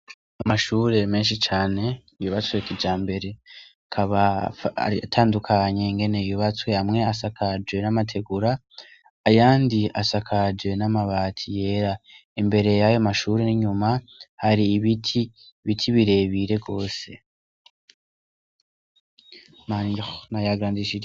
Amashuri menshi cane, yubatswe kijambere, akaba atandukanye ingene yubatswe. Hamwe asakaje n'amategura ayandi asakaje n'amabati yera. Imbere yayo mashuri n'inyuma hari ibiti, ibiti birebire gose.